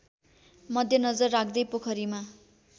मध्यनजर राख्दै पोखरीमा